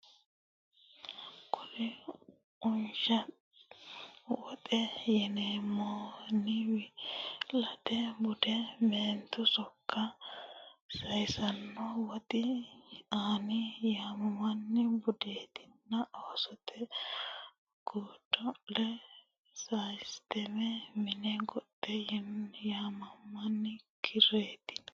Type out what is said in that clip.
Kuri Unsha woxe yinoommenni wi late bude meentu sokka saysanno Woxu anni yinoommenni budenna oosote gode le bude saysate Mine goxe yinoommenni kiirranni.